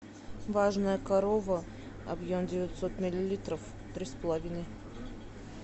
важная корова объем девятьсот миллилитров три с половиной